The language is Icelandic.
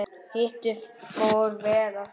Hitinn fór vel í þau.